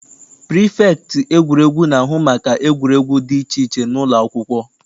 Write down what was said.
Prifektị egwuregwu na-ahụ maka egwuregwu dị iche iche n'ụlọakwụkwọ.